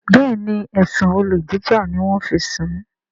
Béèni ẹsùn olè jíjà ní wón fí ń sún